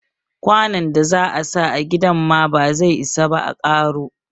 Kwanon da za a sa a gidan ma ba zai isa ba a karo.